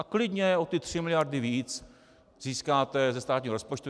A klidně o ty tři miliardy víc získáte ze státního rozpočtu.